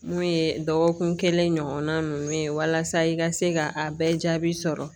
Mun ye dɔgɔkun kelen ɲɔgɔnna ninnu ye walasa i ka se ka a bɛɛ jaabi sɔrɔ